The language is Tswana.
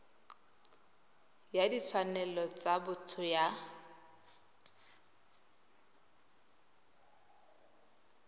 ya ditshwanelo tsa botho ya